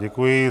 Děkuji.